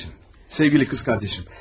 Sevgili anacan, sevgili bacım.